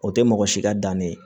O tɛ mɔgɔ si ka dannen ye